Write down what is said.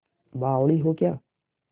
बावली हो क्या